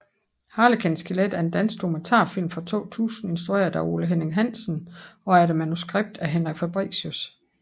Harlekin skelet er en dansk dokumentarfilm fra 2000 instrueret af Ole Henning Hansen og efter manuskript af Henrik Fabricius